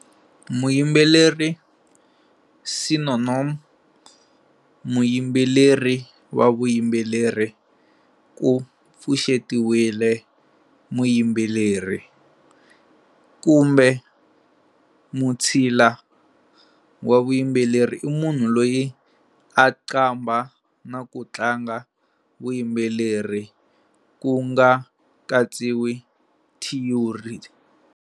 Muyimbeleri, Sino-Nom-"muyimbeleri wa vuyimbeleri", ku pfuxetiwile-"muyimbeleri", kumbe mutshila wa vuyimbeleri i munhu loyi a qambha, na ku tlanga vuyimbeleri, ku nga katsiwi thiyori.